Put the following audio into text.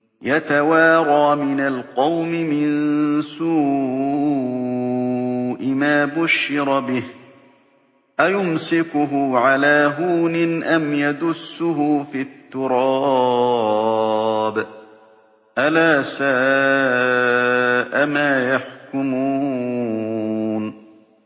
يَتَوَارَىٰ مِنَ الْقَوْمِ مِن سُوءِ مَا بُشِّرَ بِهِ ۚ أَيُمْسِكُهُ عَلَىٰ هُونٍ أَمْ يَدُسُّهُ فِي التُّرَابِ ۗ أَلَا سَاءَ مَا يَحْكُمُونَ